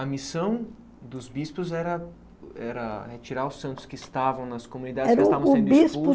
A missão dos bispos era era retirar os santos que estavam nas comunidades